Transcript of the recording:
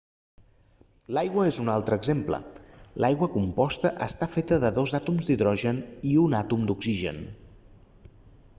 l'aigua és un altre exemple l'aigua composta està feta de dos àtoms d'hidrogen i un àtom d'oxigen